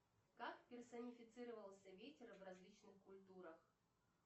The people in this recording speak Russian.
как персонифицировался ветер в различных культурах